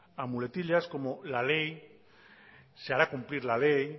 a muletillas como la ley se hará cumplir la ley